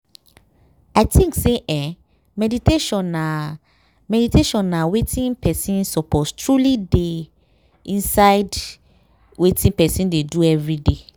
i think say eeh meditation na meditation na wetin person suppose truely dey inside wetin person dey do everyday.